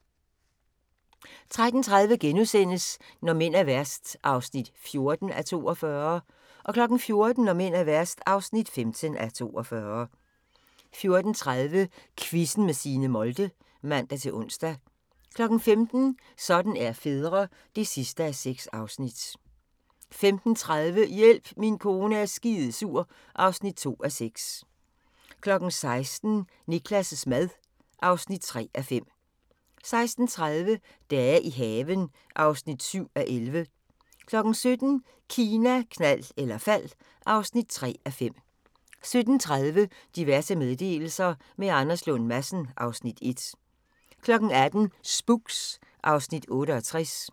13:30: Når mænd er værst (14:42)* 14:00: Når mænd er værst (15:42) 14:30: Quizzen med Signe Molde (man-ons) 15:00: Sådan er fædre (6:6) 15:30: Hjælp, min kone er skidesur (2:6) 16:00: Niklas' mad (3:5) 16:30: Dage i haven (7:11) 17:00: Kina, knald eller fald (3:5) 17:30: Diverse meddelelser – med Anders Lund Madsen (Afs. 1) 18:00: Spooks (Afs. 68)